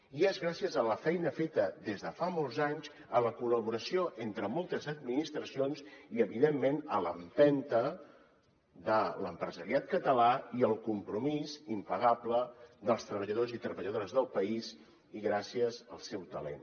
i és gràcies a la feina feta des de fa molts anys a la col·laboració entre moltes administracions i evidentment a l’empenta de l’empresariat català i el compromís impagable dels treballadors i treballadores del país i gràcies al seu talent